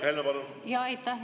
Aitäh, hea eesistuja!